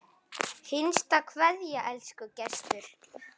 HINSTA KVEÐJA Elsku Gestur.